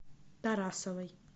тарасовой